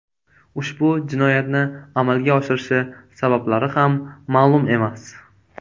Ushbu jinoyatni amalga oshirishi sabablari ham ma’lum emas.